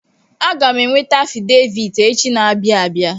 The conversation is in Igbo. Aga m eweta afidevit echi na-abịa abia.